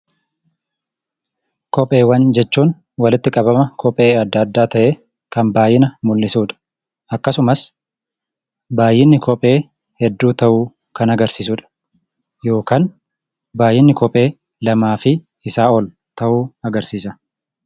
Kopheewwan jechuun walitti qabama kophee adda addaa ta'e kan baay'ina mul'isuudha. Akkasumas baay'inni kophee hedduu ta'u kan agarsisudha. Yookaan baay'inni kophee lamaafi isa ol ta'u agarsisaa.